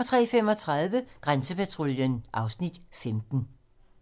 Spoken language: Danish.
03:35: Grænsepatruljen (Afs. 15)